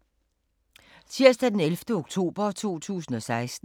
Tirsdag d. 11. oktober 2016